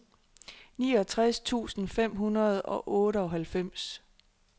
niogtres tusind fem hundrede og otteoghalvfems